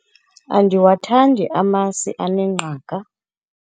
andiwathandi amasi anengqaka